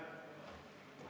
Aitäh!